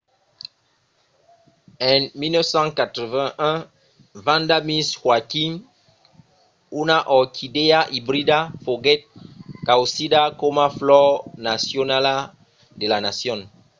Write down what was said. en 1981 vanda miss joaquim una orquidèa ibrida foguèt causida coma flor nacionala de la nacion